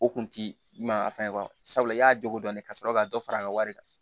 O kun ti ɲuman fɛn kɔrɔ sabula i y'a jogo dɔn ka sɔrɔ ka dɔ fara a ka wari kan